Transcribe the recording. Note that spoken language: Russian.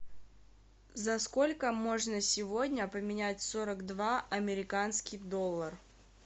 за сколько можно сегодня поменять сорок два американский доллар